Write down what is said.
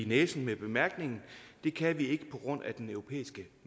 næsen med bemærkningen det kan vi ikke på grund af den europæiske